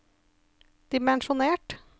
dimensjonert